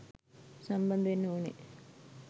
සම්බන්ධ වෙන්න ඕනෙ.